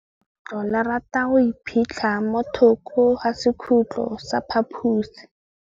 Legôtlô le rata go iphitlha mo thokô ga sekhutlo sa phaposi.